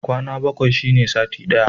Kwana bakwai shine sati ɗaya.